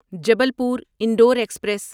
Jabalpur Indore express